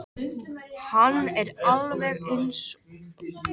Hann er eins og alvöru trésmiður.